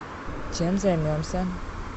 чем займемся